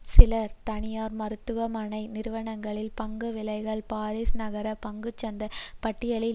சில தனியார் மருத்துவமனை நிறுவனங்களின் பங்கு விலைகள் பாரீஸ் நகர பங்குசந்தை பட்டியலில்